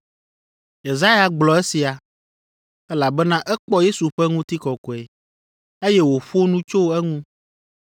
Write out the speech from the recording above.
Yesaya gblɔ esia, elabena ekpɔ Yesu ƒe ŋutikɔkɔe, eye wòƒo nu tso eŋu.